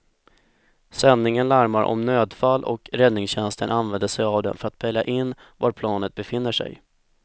Sändningen larmar om nödfall och räddningstjänsten använder sig av den för att pejla in var planet befinner sig.